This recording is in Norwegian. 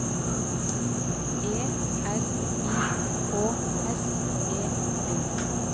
E R I K S E N